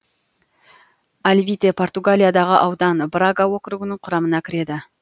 алвите португалиядағы аудан брага округінің құрамына кіреді